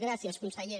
gràcies consellera